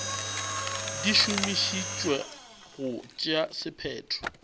di šomišetšwa go tšea sephetho